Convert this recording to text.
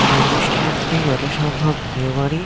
এই অনুষ্ঠানটি যত সম্ভব বিয়ে বাড়ি।